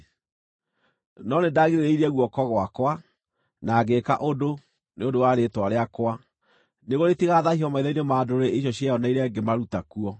No nĩndagirĩrĩirie guoko gwakwa, na ngĩĩka ũndũ, nĩ ũndũ wa rĩĩtwa rĩakwa nĩguo rĩtigathaahio maitho-inĩ ma ndũrĩrĩ icio cieyoneire ngĩmaruta kuo.